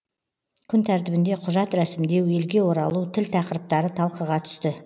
күн тәртібінде құжат рәсімдеу елге оралу тіл тақырыптары талқыға түсті